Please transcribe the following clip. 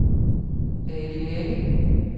Ali Ali